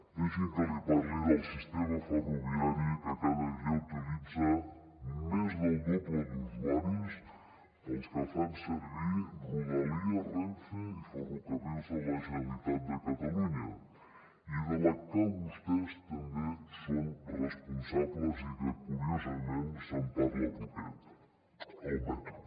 deixi’m que li parli del sistema ferroviari que cada dia utilitza més del doble d’usuaris dels que fan servir rodalies renfe i ferrocarrils de la generalitat de catalunya i de la que vostès també són responsables i que curiosament se’n parla poquet el metro